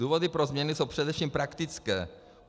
Důvody pro změny jsou především praktické.